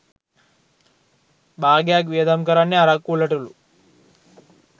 භාගයක්‌ වියදම් කරන්නෙ අරක්‌කු වලටලු.